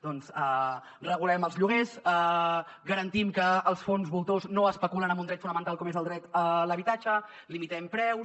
doncs regulem els lloguers garantim que els fons voltors no especulen amb un dret fonamental com és el dret a l’habitatge limitem preus